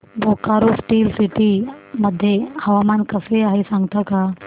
Bokaro steel city मध्ये हवामान कसे आहे सांगता का